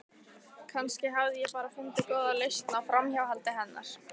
Kannski hafði ég bara fundið góða lausn á framhjáhaldi hennar.